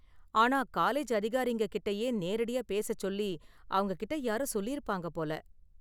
ஆனா, காலேஜ் அதிகாரிங்க கிட்டயே நேரடியா பேசச் சொல்லி அவங்ககிட்ட யாரோ சொல்லியிருப்பாங்க போல.